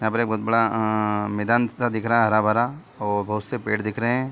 यहाँ पर बहुत बड़ा अ मैदान सा दिख रहा है हरा-भरा और बहुत से पेड़ दिख रहे है।